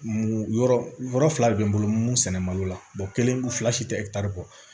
Mun yɔrɔ fila de bɛ n bolo sɛnɛ malo la kelen ko fila si tɛ kɔ